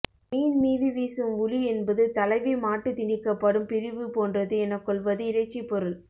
மீன் மீது வீசும் உளி என்பது தலைவி மாட்டுத் திணிக்கப்படும் பிரிவு போன்றது எனக் கொள்வது இறைச்சிப்பொருள்